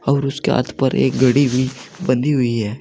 और उसके हाथ पर एक घड़ी भी बंधी हुई है।